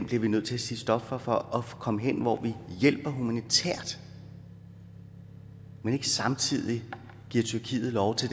vi nødt til at sige stop for for at komme hen hvor vi hjælper humanitært men ikke samtidig giver tyrkiet lov til